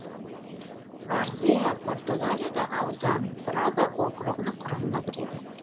варзеа португалиядағы аудан брага округінің құрамына кіреді